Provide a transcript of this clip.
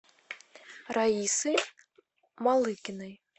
раисы малыгиной